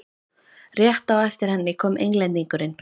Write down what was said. Rétt á eftir henni kom Englendingurinn.